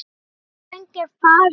Jóna frænka er farin.